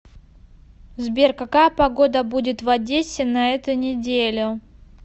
сбер какая погода будет в одессе на эту неделю